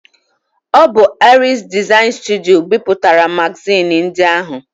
Ọ bụ Aries Design Studio bipụtara magazin ndị ahụ